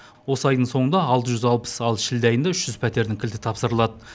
осы айдың соңында алты жүз алпыс ал шілде айында үш жүз пәтердің кілті тапсырылады